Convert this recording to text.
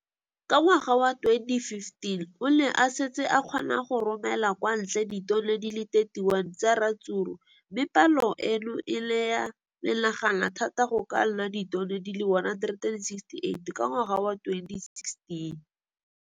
Ka ngwaga wa 2015, o ne a setse a kgona go romela kwa ntle ditone di le 31 tsa ratsuru mme palo eno e ne ya menagana thata go ka nna ditone di le 168 ka ngwaga wa 2016.